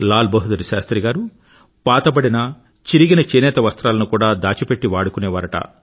లాల్ బహదూర్ శాస్త్రి గారు పాతబడిన చిరిగిన చేనేత వస్త్రాలను కూడా దాచిపెట్టి వాడుకునేవారట